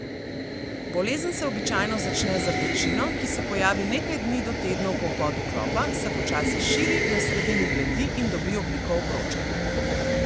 Bolezen se običajno začne z rdečino, ki se pojavi nekaj dni do tednov po vbodu klopa, se počasi širi, na sredini bledi in dobi obliko obroča.